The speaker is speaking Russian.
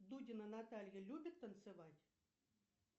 дудина наталья любит танцевать